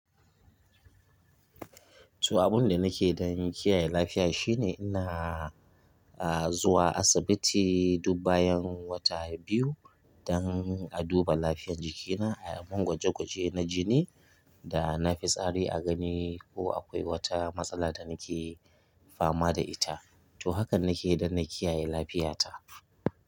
To, abinda nake dan kiyaye lafiya shine ina a zuwa asibiti duk bayan wata biyu don a duba lafiyar jikina, ayimin gwaje gwaje na jini da na fi tsari a gani ko akwai wata matsala da nake fama da ita. To hakan nakeyi dan na kiyaye lafiyata.